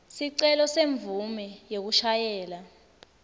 sicelo semvumo yekushayela